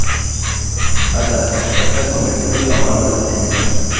हमारे 2 मान बदलने जा रहे हैं